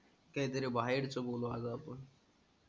काही तरी बाहेरच बोलू आज आपण.